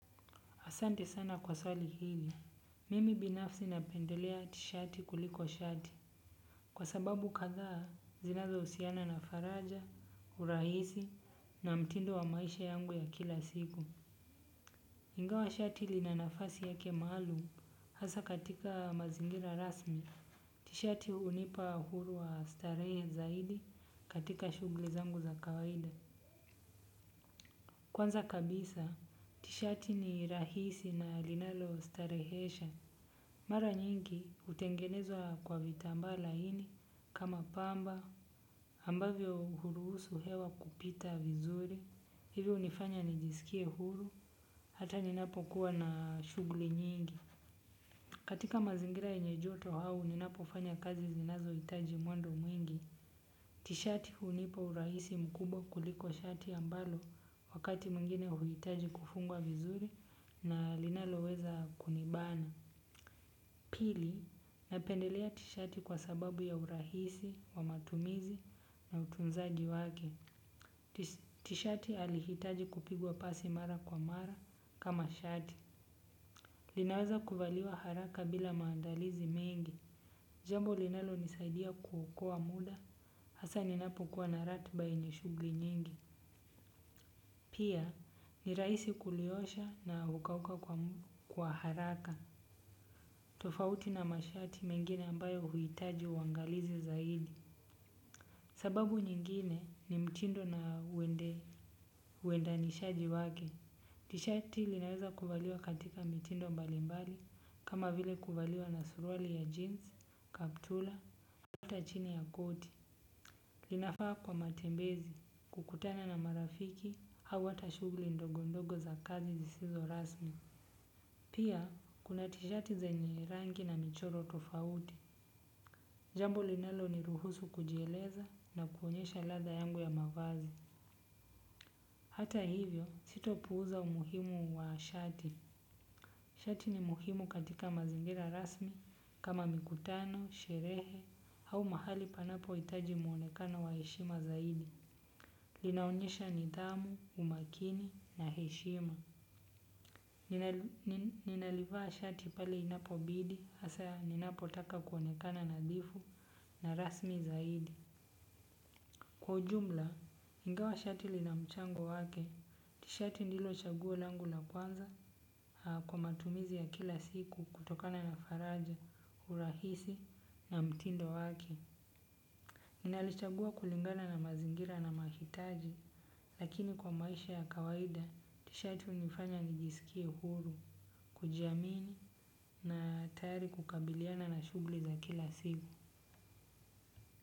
Asante sana kwa swali hili. Mimi binafsi napendelea tishati kuliko shati. Kwa sababu kadhaa, zinazohusiana na faraja, urahisi na mtindo wa maisha yangu ya kila siku. Ingawa shati lina nafasi yake maalum, hasa katika mazingira rasmi. Tishati hunipa uhuru wa starehe zaidi katika shughuli zangu za kawaida. Kwanza kabisa, tishati ni rahisi na linalostarehesha. Mara nyingi hutengenezwa kwa vitambaa laini kama pamba ambavyo huruhusu hewa kupita vizuri. Hivyo hunifanya nijisikie huru hata ninapokuwa na shughuli nyingi. Katika mazingira yenye joto au ninapofanya kazi zinazohitaji mwendo mwingi tishati hunipa urahisi mkubwa kuliko shati ambalo wakati mwingine huitaji kufungwa vizuri na linaloweza kunibana. Pili, napendelea tishati kwa sababu ya urahisi, wa matumizi na utunzaji wake. Tishati halihitaji kupigwa pasi mara kwa mara kama shati. Linaweza kuvaliwa haraka bila maandalizi mengi. Jambo linalonisaidia kuokoa muda hasaa ninapokuwa na ratiba yenye shughuli nyingi. Pia, ni rahisi kuliosha na hukauka kwa haraka. Tofauti na mashati mengine ambayo huitaji uangalizi zaidi. Sababu nyingine ni mtindo na uwendanishaji wake. Tishati linaweza kuvaliwa katika mitindo mbalimbali kama vile kuvaliwa na suruali ya jeans, kaptura, hata chini ya koti. Linafaa kwa matembezi kukutana na marafiki au hata shughuli ndogondogo za kazi zisizo rasmi. Pia kuna tishati zenye rangi na michoro tofauti. Jambo linaloniruhusu kujieleza na kuonyesha ladha yangu ya mavazi. Hata hivyo sitopuuza umuhimu wa shati. Shati ni muhimu katika mazingira rasmi kama mikutano, sherehe au mahali panapohitaji mwonekano wa heshima zaidi. Linaonyesha nidhamu, umakini na heshima. Ninalivaa shati pale inapobidi hasaa ninapotaka kuonekana nadhifu na rasmi zaidi. Kwa jumla, ingawa shati lina mchango wake, tishati ndilo chaguo langu la kwanza kwa matumizi ya kila siku kutokana na faraja, urahisi na mtindo wake. Nalichagua kulingana na mazingira na mahitaji lakini kwa maisha ya kawaida tishati hunifanya nijiskie huru, kujiamini na tayari kukabiliana na shughuli za kila siku.